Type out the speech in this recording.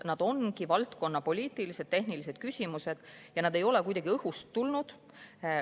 Need ongi valdkonna poliitilised, tehnilised küsimused ja need ei ole kuidagi õhust tulnud.